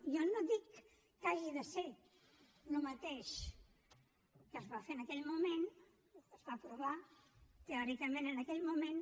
jo no dic que hagi de ser el mateix que es va fer en aquell moment es va aprovar teòricament en aquell moment